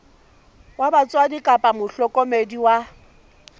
wa batswadi kapa mohlokomedi wa